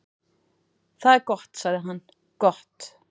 """Það er gott sagði hann, gott"""